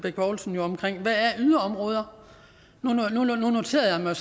yderområder er nu noterede jeg